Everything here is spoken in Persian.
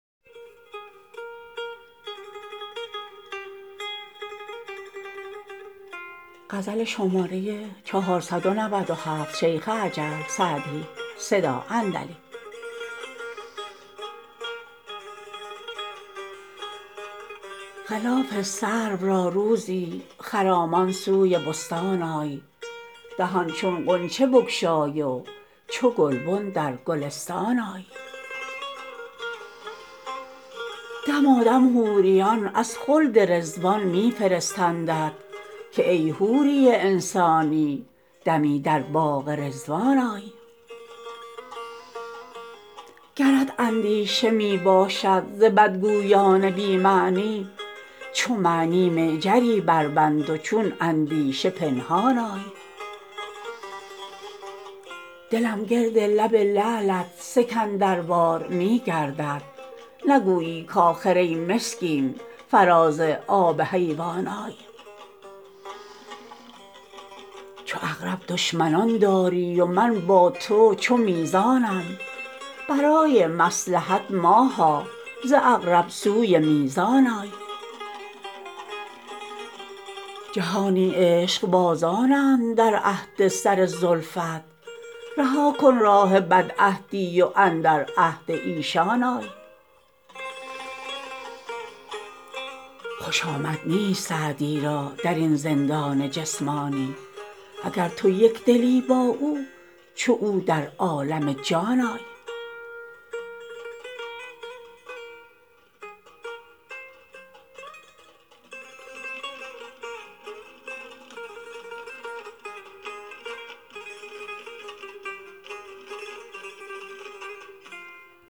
خلاف سرو را روزی خرامان سوی بستان آی دهان چون غنچه بگشای و چو گلبن در گلستان آی دمادم حوریان از خلد رضوان می فرستندت که ای حوری انسانی دمی در باغ رضوان آی گرت اندیشه می باشد ز بدگویان بی معنی چو معنی معجری بربند و چون اندیشه پنهان آی دلم گرد لب لعلت سکندروار می گردد نگویی کآخر ای مسکین فراز آب حیوان آی چو عقرب دشمنان داری و من با تو چو میزانم برای مصلحت ماها ز عقرب سوی میزان آی جهانی عشقبازانند در عهد سر زلفت رها کن راه بدعهدی و اندر عهد ایشان آی خوش آمد نیست سعدی را در این زندان جسمانی اگر تو یک دلی با او چو او در عالم جان آی